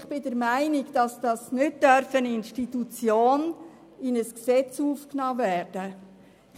Ich bin der Meinung, dass eine Institution nicht in ein Gesetz aufgenommen werden darf.